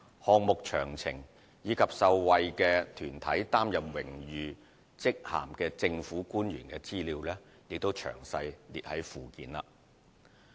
項目詳情及於受惠團體擔任榮譽職銜的政府官員資料見附件。